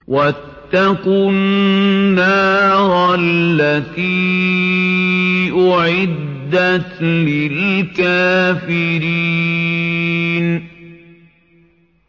وَاتَّقُوا النَّارَ الَّتِي أُعِدَّتْ لِلْكَافِرِينَ